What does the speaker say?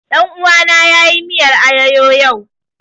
Ɗan uwana ya yi miyar ayoyo yau